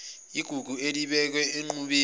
igugu elibekwe enqubeni